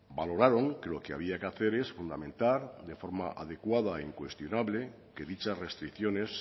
valoraron que lo que había que hacer es fundamentar de forma adecuada e incuestionable que dichas restricciones